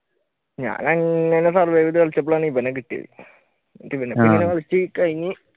ഞാൻ അങ്ങനെ survive ചെയ്തു കളിച്ചപ്പോഴാണ് ഇവനെ കിട്ടിയത് കഴിഞ്ഞു